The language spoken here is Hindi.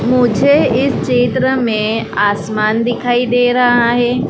मुझे इस चित्र में आसमान दिखाई दे रहा है।